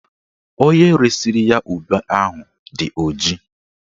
Onye resiri ya ube ahụ dị ọjị